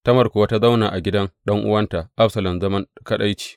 Tamar kuwa ta zauna a gidan ɗan’uwanta Absalom, zaman kaɗaici.